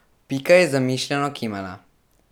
Pika je zamišljeno kimala.